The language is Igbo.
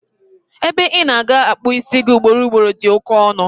Ebe ina-aga akpu isi gi ị ugboro ugboro di oké ọnụ